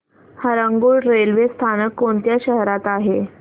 Harangul railway स्थानक कोणत्या शहरात आहे